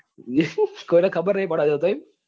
કોઈ ને ખબર નઈ પાડવા દેતો જ નહિ એમ?